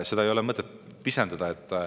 Seda ei ole mõtet pisendada, et …